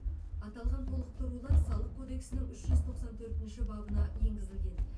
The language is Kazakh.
аталған толықтырулар салық кодексінің үш жүз тоқсан төртінші бабына енгізілген